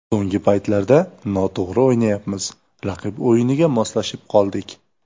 So‘nggi paytlarda noto‘g‘ri o‘ynayapmiz, raqib o‘yiniga moslashib qoldik.